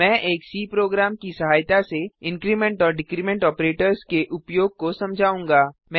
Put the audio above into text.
मैं एक C program की सहायता से इंक्रीमेंट और डिक्रीमेंट ऑपरेटर्स के उपयोग को समझाऊँगा